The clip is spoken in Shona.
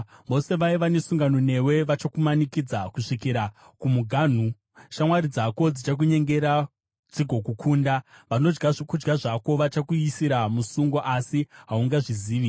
Vose vaiva nesungano newe vachakumanikidza kusvikira kumuganhu; shamwari dzako dzichakunyengera dzigokukunda; vanodya zvokudya zvako vachakuisira musungo, asi haungazvizivi.